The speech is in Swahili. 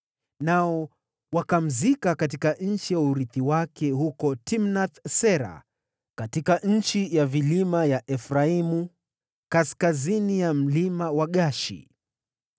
Nao wakamzika katika nchi ya urithi wake, huko Timnath-Sera katika nchi ya vilima ya Efraimu, kaskazini ya Mlima wa Gaashi.